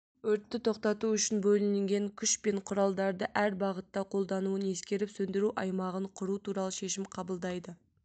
өртті тоқтату үшін бөлінген күш пен құралдарды әр бағытта қолдануын ескеріп сөндіру аймағын құру туралы шешім қабылдайды